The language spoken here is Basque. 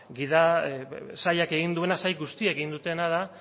sail guztiek egin dutena da